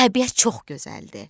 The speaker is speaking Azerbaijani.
Təbiət çox gözəldir.